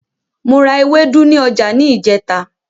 Mo ra ewédú ní ọjà ní ìjẹ́ta.